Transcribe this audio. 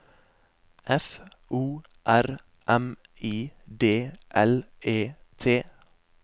F O R M I D L E T